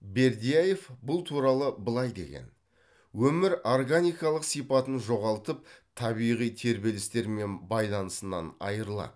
бердяев бұл туралы былай деген өмір органикалық сипатын жоғалтып табиғи тербелістермен байланысынан айырылады